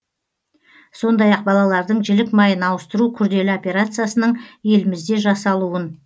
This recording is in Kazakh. сондай ақ балалардың жілік майын ауыстыру күрделі операциясының елімізде жасалуын